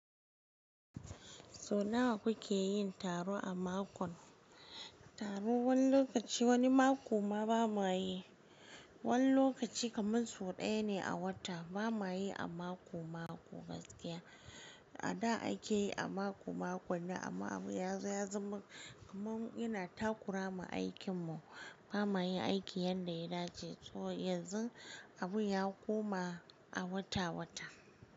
Sau nawa kuke yin taro a mako? Taron wani lokaci wani mako ma ba muwayi. Wani lokaci kaman sau ɗaya ne a wata. Ba mayi a mako-mako gaskiya. A da a ke yi a mako-mako ne amma Abu ya zo ya zama kaman yana takura ma aikin mu. Ba mayi aiki yadda ya dace. So yanzu Abu ya koma a wata-wata.